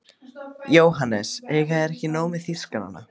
JÓHANNES: Eiga þeir ekki nóg með þýskarana?